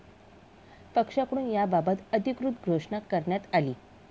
पक्षाकडून याबाबत अधिकृत घोषणा करण्यात आली.